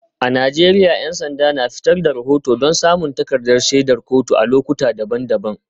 A Najeriya 'yan sanda na fitar da rahoto don samun takardar shaidar kotu a lokuta daban-daban.